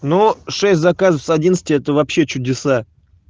ну шесть заказов с одиннадцати это вообще чудеса